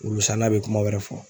Wulusanna bɛ kuma wɛrɛ fɔ.